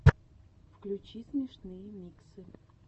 включи смешные миксы